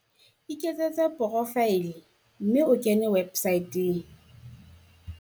Iketsetse porofaele mme o kene websaeteng.